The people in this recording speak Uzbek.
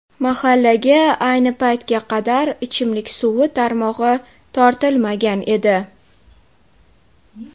Mahallaga ayni paytga qadar ichimlik suvi tarmog‘i tortilmagan edi.